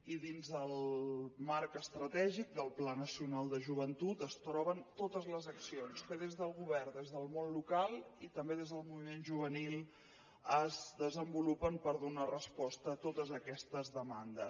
i dins el marc estratègic del pla nacional de joventut es troben totes les accions que des del govern des del món local i també des del moviment juvenil es desenvolupen per donar resposta a totes aquestes demandes